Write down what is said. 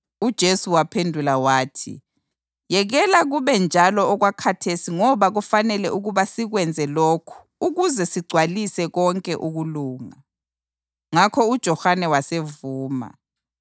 UJesu waphendula wathi, “Yekela kube njalo okwakhathesi ngoba kufanele ukuba sikwenze lokhu ukuze sigcwalise konke ukulunga.” Ngakho uJohane wasevuma.